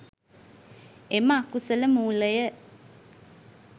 එම අකුසල මූලය